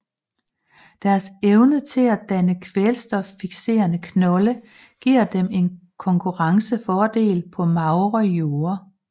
Deres evne til at danne kvælstoffiksrende knolde giver dem en konkurrencefordel på magre jorde